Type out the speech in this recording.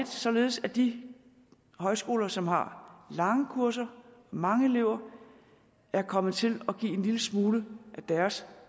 således at de højskoler som har lange kurser mange elever er kommet til at give en lille smule af deres